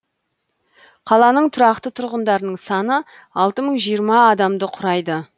қаланың тұрақты тұрғындарының саны алты мың жиырма адамды құрайды